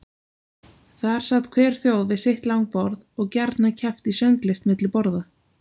Þar sat hver þjóð við sitt langborð og gjarna keppt í sönglist milli borða.